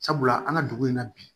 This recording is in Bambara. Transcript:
Sabula an ka dugu in na bi